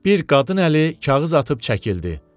Bir qadın əli kağız atıb çəkildi.